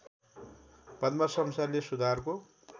पद्म शमशेरले सुधारको